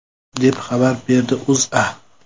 deb xabar beradi O‘zA.